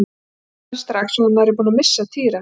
En hún hrasaði strax og var nærri búin að missa Týra.